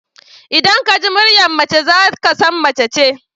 Idan ka ji muryar mace za ka san mace ce.